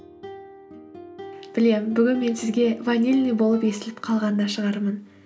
білемін бүгін мен сізге ванильный болып естіліп қалған да шығармын